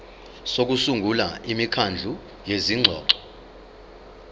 sokusungula imikhandlu yezingxoxo